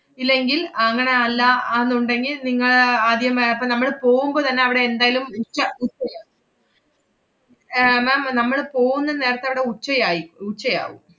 ഇല്ലെങ്കിൽ, അങ്ങനെ അല്ല ആന്നുണ്ടെങ്കി നിങ്ങ~ ആദ്യമേ അപ്പ നമ്മള് പോവുമ്പോ തന്നെ അവടെ എന്തായാലും ഏർ ma'am നമ്മള് പോവുന്ന നേരത്തവടെ ഉച്ചയായി, ഉച്ചയാവും.